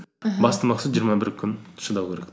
аха басты мақсат жиырма бір күн шыдау керек